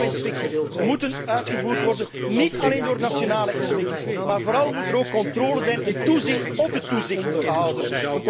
Milieu inspecties moeten uitgevoerd worden, niet alleen door nationale inspecties, maar vooral moet er ook controle en toezicht zijn op de toezichthouders.